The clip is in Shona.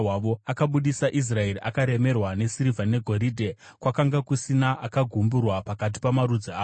Akabudisa Israeri akaremerwa nesirivha negoridhe, kwakanga kusina akagumburwa pakati pamarudzi avo.